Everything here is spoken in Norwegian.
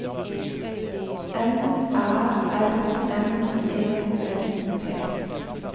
N Æ R M E S T